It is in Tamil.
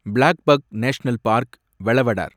blackbuck national park, Velavadar